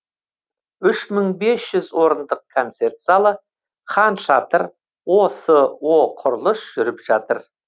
үш мың бес жүз орындық концерт залы хан шатыр осо құрылыс жүріп жатыр